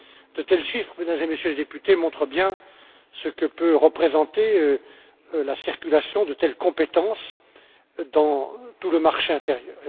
De tels chiffres, Mesdames et Messieurs les députés, montrent bien ce que peut représenter la circulation de telles compétences dans tout le marché intérieur.